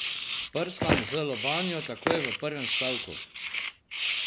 Prstan z lobanjo takoj v prvem stavku.